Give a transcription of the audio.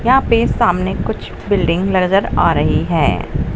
यहां पे सामने कुछ बिल्डिंग नजर आ रही है।